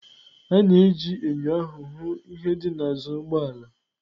A na-eji enyo ahụ hụ ihe dị n'azụ ụgbọ ala.